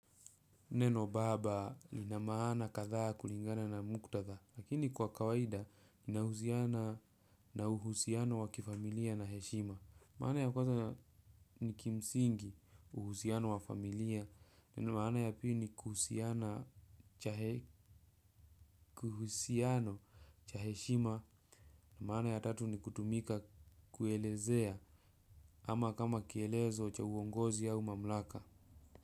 Neno baba linamaana katha kulingana na muktatha lakini kwa kawaida inahuziana na uhusiano wa kifamilia na heshima. Maana ya kwaza niki msingi uhusiano wa familia na maana ya pili ni kuhusiana cha heshima na maana ya tatu ni kutumika kuelezea ama kama kielezo cha uongozi au mamlaka.